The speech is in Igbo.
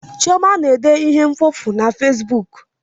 Chioma na-ede ihe mkpofu na fesbuk